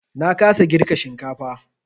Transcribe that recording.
Na kasa girka shinkafar.